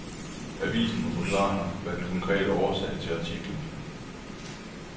Avisen må forklare, hvad der er den konkrete årsag til artiklen.